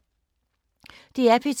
DR P2